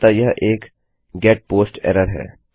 अतः यह एक गेट पोस्ट एरर है